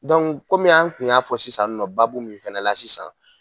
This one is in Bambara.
kɔmi an tun y'a fɔ sisan nɔ baabu min fana la sisan